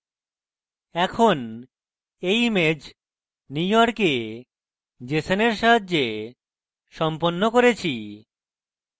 এখন এই image নিউইয়র্কে jeson সাহায্যে সম্পন্ন করেছি